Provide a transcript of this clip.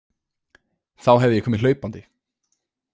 Þá hefði ég komið hlaupandi.